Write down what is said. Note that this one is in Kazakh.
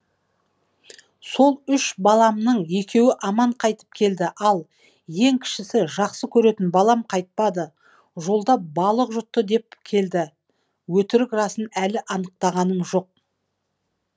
ал сол үш баламның екеуі аман қайтып келді ал ең кішісі жақсы көретін балам қайтпады жолда балық жұтты деп келді өтірік расын әлі анықтағаным жоқ